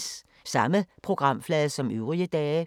Samme programflade som øvrige dage